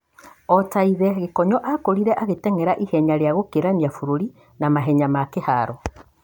o ta ithe, Gĩkonyo akũrire agĩtengera ihenya rĩa gũkĩrania bũrũri na mahenya ma kĩharo.